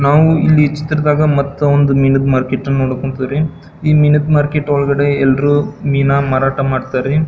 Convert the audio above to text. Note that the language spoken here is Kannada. ನಾವು ಇಲ್ಲಿ ಚಿತ್ರದಾಗ ಮತ್ತೊಂದು ಮೀನ್ ಮಾರ್ಕೆಟ್ ನೋಡಕ್ ಹೊಂತಿವಿ ರೀ ಈ ಮೀನ್ ಮಾರ್ಕೆಟ್ ಒಳಗಡೆ ಎಲ್ಲರು ಮೀನ ಮಾರಾಟ ಮಾಡ್ತರಿ.